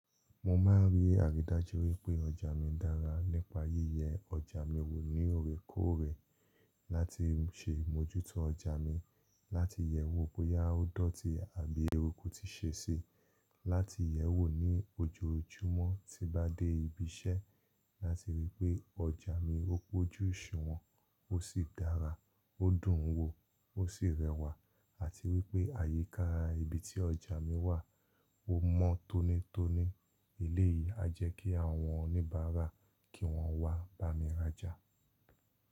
Mo máa n rí àridájú wípé ọjà mi dára nípa yíyẹ ọjà mi wò ní oorekoore. Láti ṣe ìmójútó ọjà mi, láti yè wò boya o dọ́ti àbí eruku ti ṣe si, láti yè wò ní ojoojúmọ́ tí bá dé ibi iṣẹ́ láti rí pé ọjà mi ó pójú oṣuwọ̀n, ó sì dára, ó dùn wo, ó sì rẹwà àti wípé àyíkáa ibi tí ọjà mi wà ó mọ́ tónítóní eléyìí a jẹ́ kí àwọn oníbàárà kí wọ́n wá bá mi rajà.